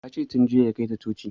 Ya ce tun jiya ya kai ta coci